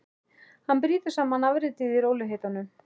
Hann brýtur saman afritið í rólegheitunum.